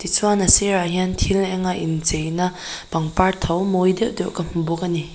chuan a sirah hian thil eng a inchei na pangpar tho mawi deuh deuh ka hmu bawk a ni.